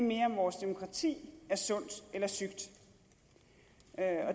mere om vores demokrati er sundt eller sygt